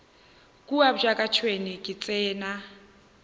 kua bjaka tšhwene e tsena